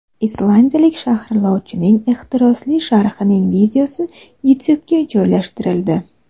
Islandiyalik sharhlovchining ehtirosli sharhining videosi YouTube’ga joylashtirildi .